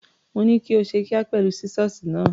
Mo ní kó ṣe kíá pẹ̀lú sísọ́ọ̀sì náà.